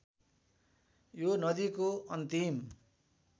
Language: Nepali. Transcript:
यो नदीको अन्तिम